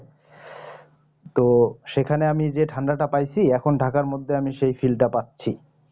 তো সেখানে আমি যে ঠান্ডাটা পায়সি এখন ঢাকার মধ্যে আমি সেই fill টা পাচ্ছি